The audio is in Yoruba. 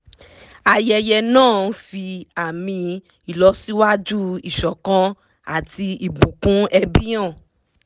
ayẹyẹ náà ń fi àmì ìlọsíwájú ìṣọ̀kan àti ìbùkún ẹbí hàn